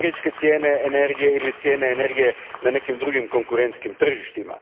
cijene energije ili cijene energije na nekim drugim konkurentskim tržištima.